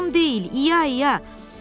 Lazım deyil, İya-iya.